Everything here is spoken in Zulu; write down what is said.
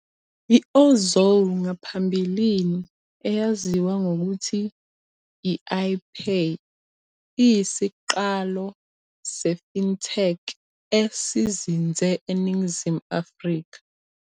I-Ozow ngaphambilini eyaziwa ngokuthi i-i-Pay, iyisiqalo se- fintech esizinze eNingizimu Afrika.